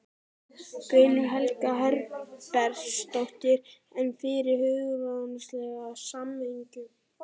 Guðný Helga Herbertsdóttir: En fyrir hugsanlega sameiningu?